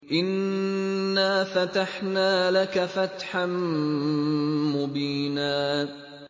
إِنَّا فَتَحْنَا لَكَ فَتْحًا مُّبِينًا